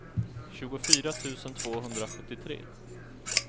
tjugofyra tusen tvåhundrasjuttiotre